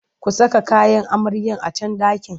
Ku saka kayan amaryar a can ɗakin!